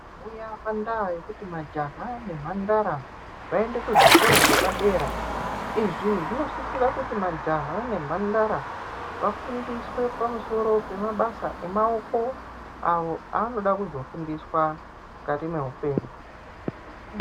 Kuyamba ndaa kekuti majaya nemhandara aende kuzvikora zvepadera. Izvi zvinosisira kuti majaha nemhandara vafundiswe pamusoro pemabasa emaoko awo aanoda kuzofundiswa mukati meupenyu.